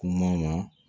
Kuma na